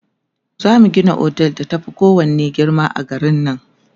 zamu Gina otel da ta Fi kowanne girma a garin nan